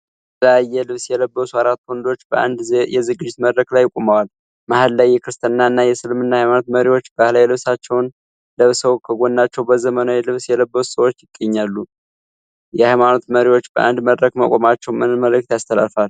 የተለያየ ልብስ የለበሱ አራት ወንዶች በአንድ የዝግጅት መድረክ ላይ ቆመዋል። መሀል ላይ የክርስትና እና የእስልምና ሀይማኖት መሪዎች ባህላዊ ልብሳቸውን ለብሰው ከጎናቸው በዘመናዊ ልብስ የለበሱ ሰዎች ይገኛሉ። የሀይማኖት መሪዎች በአንድ መድረክ መቆማቸው ምን መልዕክት ያስተላልፋል?